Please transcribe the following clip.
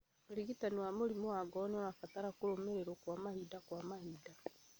ũrigitani wa mũrimũ wa ngoro nĩũrabatara kũrũmĩrĩrwo kwa mahinda kwa mahinda